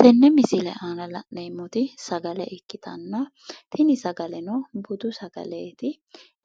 Tenne misile aana la'neemmoti sagale ikkitanna tini sagaleno budu sagaleti.